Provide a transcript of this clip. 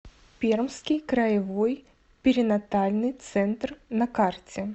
пермский краевой перинатальный центр на карте